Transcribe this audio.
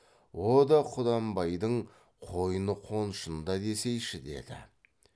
о да құнанбайдың қойны қоншында десейші деді